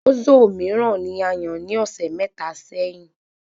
Ozo míràn ní ayàn ní ọsẹ mẹta sẹ́yín